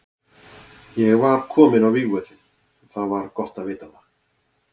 Ég var kominn á vígvöllinn og það var gott að vita það.